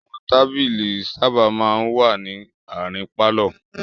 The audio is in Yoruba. Àwọn tábìlì sábà máa ń wà ní àárín pálọ̀.